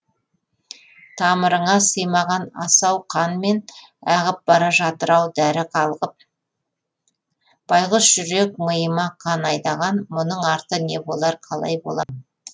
тамырыңа сыймаған асау қанмен ағып бара жатыр ау дәрі қалқып байғұс жүрек миыма қан айдаған мұның арты не болар қалай болам